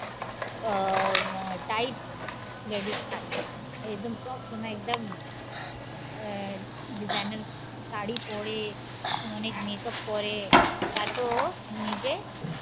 আহ type ladies থাকে একদম সবসময় একদম আহ designer সারি পরে অনেক makeup পরে তারপর নিজে